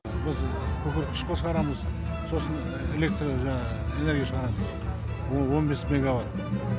біз күкірт қышқыл шығарамыз сосын электро жаңағы энергия шығарамыз ол он бес мегабайт